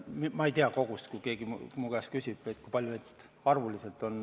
Ma ei tea kogust, kui keegi mu käest küsib, kui palju neid arvuliselt on.